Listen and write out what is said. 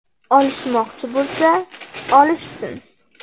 Olishmoqchi bo‘lsa, olishsin.